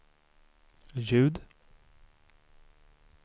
ljud